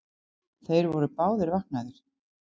Þeir voru báðir vaknaðir.